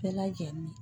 Bɛɛ lajɛlen